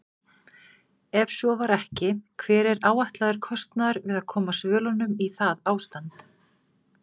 Ef svo var ekki, hver er áætlaður kostnaður við að koma svölunum í það ástand?